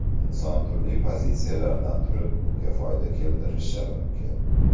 Inson turli pozitsiyalardan turib unga foyda keltirishi mumkin.